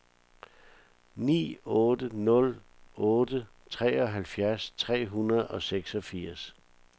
ni otte nul otte treoghalvfjerds tre hundrede og seksogfirs